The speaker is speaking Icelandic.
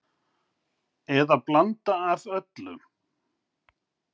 Eða blanda af öllu